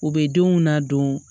U bɛ denw nadon